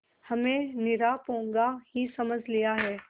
हमें निरा पोंगा ही समझ लिया है